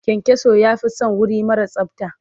Kyankyaso ya fi son wuri mara tsabta.